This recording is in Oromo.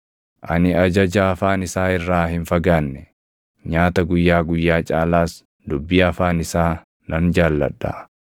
Ani ajaja afaan isaa irraa hin fagaanne; nyaata guyyaa guyyaa caalaas dubbii afaan isaa nan jaalladha.